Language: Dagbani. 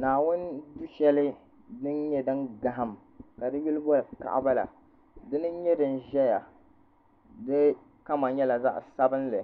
Naawuni duu shɛli din nyɛ din gahim ka di yuli boli kaɣaba la di ni nyɛ din ʒɛya ka kama nyɛla zaɣa sabinli